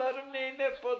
İşlərim nə eləyib o da?